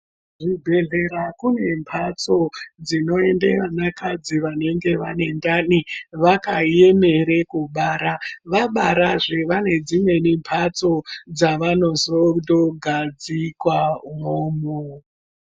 Kuzvibhehlera kune mhatso dzinoende vanakadzi vanenge vane ndani vakaemere kubara ,vabarazve vanedzimweni mhatso dzavanozogadzikwa umwomwo.